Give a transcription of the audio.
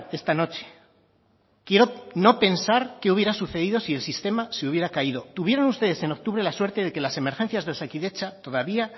esta noche quiero no pensar qué hubiera sucedido si el sistema se hubiera caído tuvieron ustedes en octubre la suerte de que las emergencias de osakidetza todavía